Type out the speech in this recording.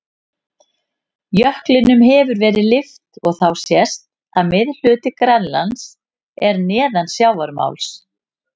Jöklinum hefur verið lyft og þá sést að miðhluti Grænlands er neðan sjávarmáls.